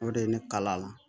O de ye ne kala